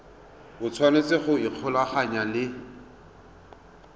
o tshwanetse go ikgolaganya le